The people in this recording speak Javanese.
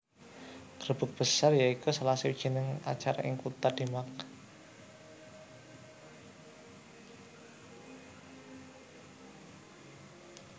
Grebeg Besar ya iku salah sawijining acara ing kutha Demak